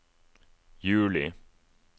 juli